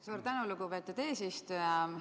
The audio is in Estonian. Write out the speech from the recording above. Suur tänu, lugupeetud eesistuja!